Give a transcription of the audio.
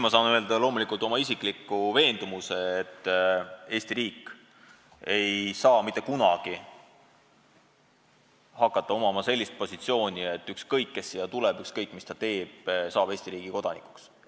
Ma saan loomulikult väljendada vaid oma isiklikku veendumust: Eesti riik ei võta mitte kunagi sellist positsiooni, et ükskõik kes siia tuleb ja ükskõik mis ta teeb, ta saab Eesti riigi kodanikuks.